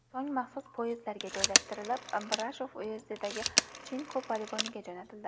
So‘ng maxsus poyezdlarga joylashtirilib, Brashov uyezdidagi Chinku poligoniga jo‘natildi.